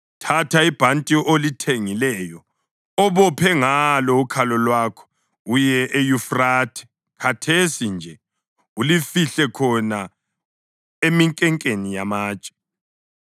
“Thatha ibhanti olithengileyo obophe ngalo ukhalo lwakho, uye eYufrathe, khathesi nje ulifihle khona eminkenkeni yamatshe.”